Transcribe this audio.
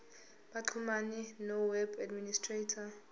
baxhumane noweb administrator